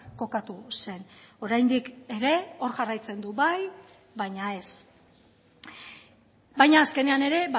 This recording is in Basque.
kokatu zen oraindik ere hor jarraitzen du bai baina ez baina azkenean ere